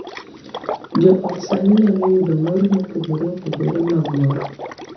Jo ot sani nyalo yudo mor mopogore opogore mag mor, .